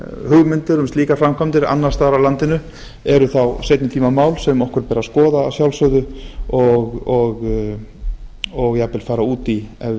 um slíka framkvæmdir annars vegar á landinu eru þá seinni tíma mál sem okkur ber að skoða að sjálfsögðu og jafnvel fara út í ef við